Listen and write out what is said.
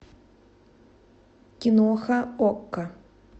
киноха окко